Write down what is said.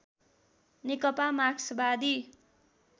नेकपा मार्क्सवादी